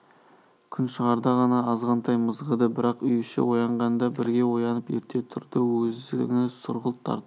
күн шығарда ғана азғантай мызғыды бірақ үй іші оянғанда бірге оянып ерте тұрды өңі сұрғылт тартып